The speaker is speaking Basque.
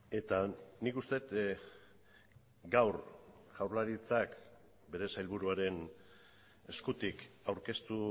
eta nik uste dut gaur jaurlaritzak bere sailburuaren eskutik aurkeztu